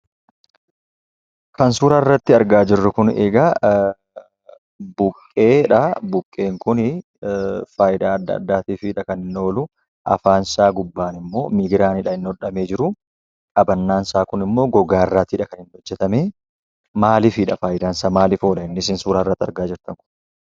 Kan suura irratti argaa jirru kun egaa buqqeedhaa. Buqqeen kunii faayidaa adda addaatiifidha kan inni oolu. Afaansaa gubbaanimmoo migiraani kan inni hodhamee jiruu qabannaansaaa kunimmoo gogaarraatiidha kan inni hojjetamee. Maalifiidha faayidaansaa ? maalif oola inni sin suura irratti argaa jirtan kun?